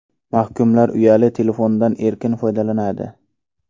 Mahkumlar uyali telefondan erkin foydalanadi.